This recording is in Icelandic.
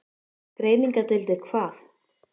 Greiningardeildir hvað?